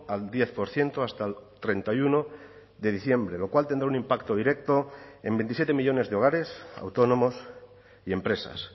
al diez por ciento hasta el treinta y uno de diciembre lo cual tendrá un impacto directo en veintisiete millónes de hogares autónomos y empresas